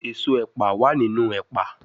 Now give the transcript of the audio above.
Eso epa wa ninu epa